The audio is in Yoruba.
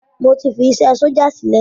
Mo ti fi isé sójà sílẹ̀